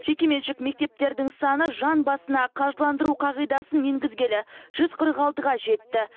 жекеменшік мектептердің саны жан басына қаржыландыру қағидасын енгізгелі жүз қырық алтыға жетті